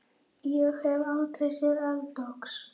Ég hef aldrei séð eldgos.